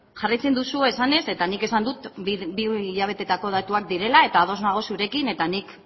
jarraitzen duzu esanez eta nik esan dut bi hilabeteetako datuak direla eta ados nago zurekin eta nik